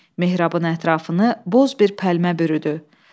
Mehrabın ətrafını boz bir pəlmə bürüdü.